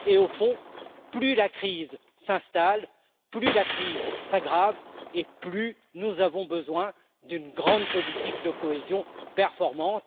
Au fond, plus la crise s'installe, plus la crise s'aggrave et plus nous avons besoin d'une grande politique de cohésion performante.